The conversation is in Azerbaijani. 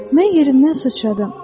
Mən yerimdən sıçradım.